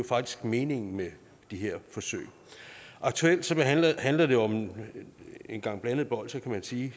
faktisk meningen med de her forsøg aktuelt handler det om en gang blandede bolsjer kan man sige